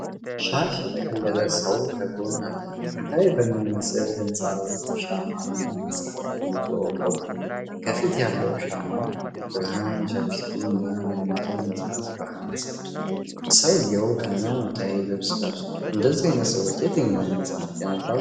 ሻሽ የጠቀለለ ሰው ከጎን አለ። ጥንታዊ በሚመስል ሕንፃ ውስጥ ሻማ እና መጽሐፍ ይዞ ቆሟል። ከፊት ያለው ሻማ ብርሃን ለፊቱ እና ለሚይዘው መጽሐፍ ብርሃን ሰጥቷል። ሰውየው ሃይማኖታዊ ልብስ ለብሷል። እንደዚህ ዓይነት ሰዎች የትኞቹን መጽሐፍት ያነባሉ?